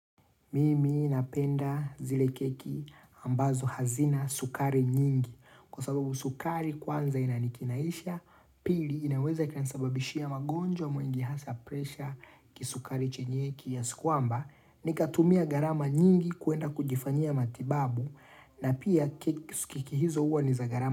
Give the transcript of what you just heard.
Mimi napenda zile keki ambazo hazina sukari nyingi kwa sababu sukari kwanza inanikinaisha pili inaweza kanasababishia magonjwa mengi hasa presha kisukari chenye kiasi kwamba nikatumia gharama nyingi kwenda kujifanyia matibabu na pia keki hizo hua niza gharama.